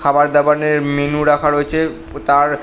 খাবার দাবারের মেনু রাখা রয়েছে উব তার--